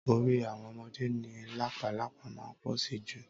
Orí àwọn ọmọdé ni làpálàpá máa ń pọ̀ sí jù